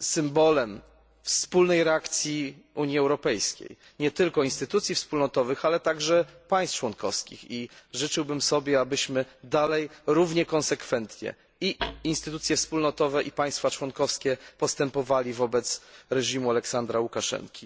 symbolem wspólnej reakcji Unii Europejskiej, nie tylko instytucji wspólnotowych, ale także państw członkowskich, i życzyłbym sobie, abyśmy dalej równie konsekwentnie i instytucje wspólnotowe, i państwa członkowskie postępowali wobec reżimu Aleksandra Łukaszenki.